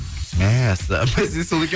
мәссаған бәсе сол екен